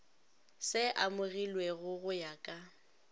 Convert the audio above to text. se amogilwego go ya ka